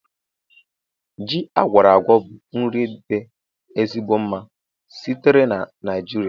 Ji agwora-agwo bụ nri dị ezigbo mma sitere na nijiria